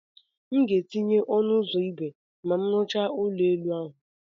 M ga-etinye ọnụ ụzọ ígwè ma m rụchaa ụlọ elu ahụ.